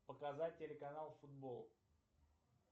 показать телеканал футбол